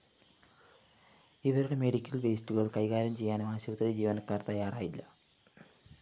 ഇവരുടെ മെഡിക്കൽ വേസ്റ്റുകള്‍ കൈകാര്യം ചെയ്യാനും ആശുപത്രി ജീവനക്കാര്‍ തയ്യാറായില്ല